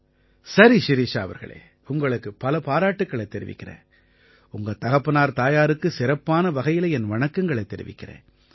சரி ஷிரிஷா அவர்களே உங்களுக்கு பல பாராட்டுக்களைத் தெரிவிக்கறேன் உங்க தகப்பனார்தாயாருக்கு சிறப்பான வகையில என் வணக்கங்களைத் தெரிவிக்கறேன்